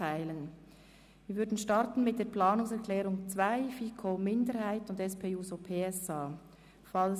Wir starten mit der Planungserklärung 2, FiKo-Minderheit und SP-JUSOPSA-Fraktion.